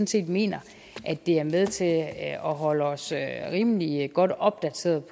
set mener at det er med til at at holde os rimelig godt opdateret